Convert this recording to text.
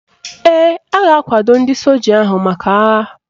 Ee, a ga-akwado ndị soja ahụ maka agha